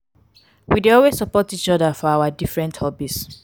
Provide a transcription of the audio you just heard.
we dey always support each other for our different hobbies.